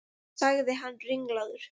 sagði hann ringlaður.